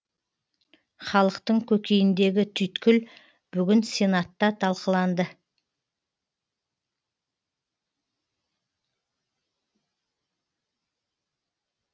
халықтың көкейіндегі түйткіл бүгін сенатта талқыланды